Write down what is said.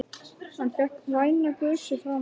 Hann fékk væna gusu framan á sig.